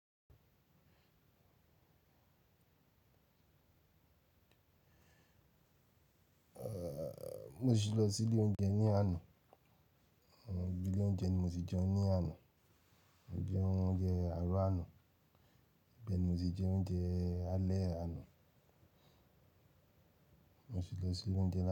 Mo si lọ sí ilé oúnjẹ ní àná. Ibi ilé oúnjẹ ni mo ti jẹun ní àná. Mo jẹ oúnjẹ àárọ̀ àná, ibe ni mo ti jẹ oúnjẹ alẹ́ àná. Mo ti lọ sí ilé oúnjẹ.